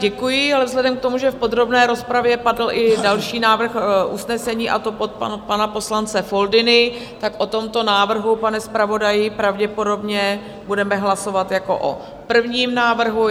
Děkuji, ale vzhledem k tomu, že v podrobné rozpravě padl i další návrh usnesení, a to od pana poslance Foldyny, tak o tomto návrhu, pane zpravodaji, pravděpodobně budeme hlasovat jako o prvním návrhu.